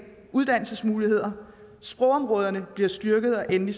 uddannelsesmuligheder sprogområderne bliver styrket og endelig